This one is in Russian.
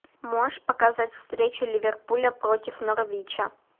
можешь показать встречу ливерпуля против норвича